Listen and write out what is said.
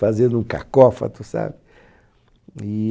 fazendo um cacófato, sabe?